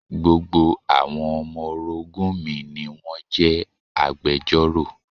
Gbogbo àwọn ọmọ orogún mi ni wón jẹ́ agbejọ́rò.